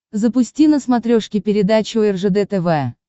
запусти на смотрешке передачу ржд тв